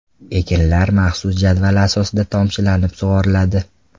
Ekinlar maxsus jadval asosida tomchilatib sug‘oriladi.